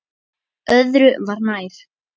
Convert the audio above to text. Öðru var nær.